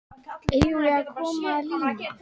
Eigum við að koma að líma?